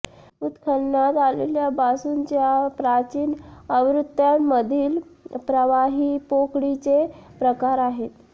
उत्खननात आलेल्या बांसूच्या प्राचीन आवृत्त्यांमधील प्रवाही पोकळीचे प्रकार आहेत